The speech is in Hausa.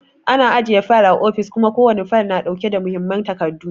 Ana ajiye fayil a ofis kuma ko wani fayil na ɗauke da muhimman takardu.